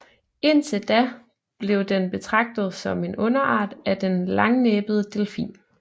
Indtil da blev den betragtet som en underart af den langnæbede delfin